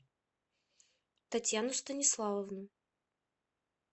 татьяну станиславовну